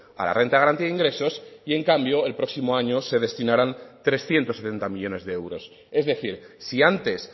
a la renta de garantía de ingresos y en cambio el próximo año se destinarán trescientos setenta millónes de euros es decir si antes